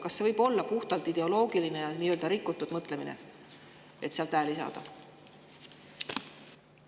Kas see võib olla puhtalt nii-öelda ideoloogiline rikutud mõtlemine, et sealt hääli saada?